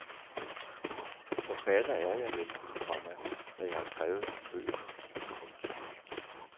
Forfatter er jeg vel, komma når jeg har skrevet nogle bøger. punktum